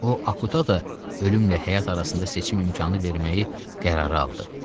O Akutda ölümlə həyat arasında seçim imkanı verməyi qərara aldı.